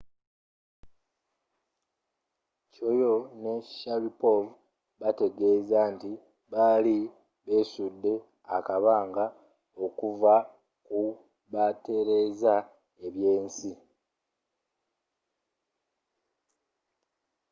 chiao ne sharipov baategeza nti bali beesudde akabanga okuva kubatereza ebyensi